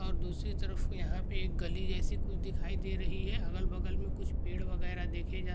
और दूसरी तरफ यहा पे एक गली जेसी कुछ दिखाई दे रही है अगल बगल मे कुछ पेड़ वगेरा देखे जा--